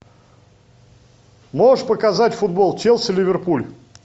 можешь показать футбол челси ливерпуль